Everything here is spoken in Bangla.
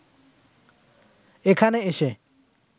এখানে এসে